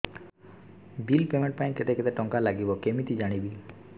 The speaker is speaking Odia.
ବିଲ୍ ପେମେଣ୍ଟ ପାଇଁ କେତେ କେତେ ଟଙ୍କା ଲାଗିବ କେମିତି ଜାଣିବି